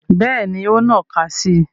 Bẹ́ẹ̀ni, o n nnaka si i